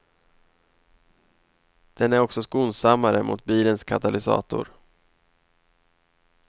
Den är också skonsammare mot bilens katalysator.